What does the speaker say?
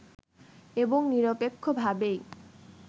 এবং নিরপেক্ষভাবেই